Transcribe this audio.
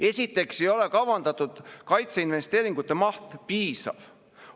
Esiteks ei ole kavandatud kaitseinvesteeringute maht piisav.